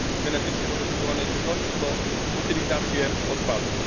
od genetycznie modyfikowanej żywności po utylizację odpadów.